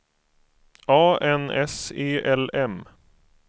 A N S E L M